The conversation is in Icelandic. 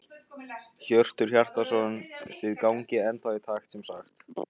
Hjörtur Hjartarson: Þið gangið ennþá í takt sem sagt?